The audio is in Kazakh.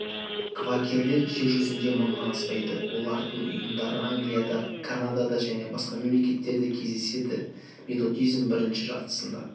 квакерлер жер жүзінде мыңнан аспайды олардың ұйымдары англияда канадада және басқа мемлекеттерде кездеседі методизм бірінші жартысында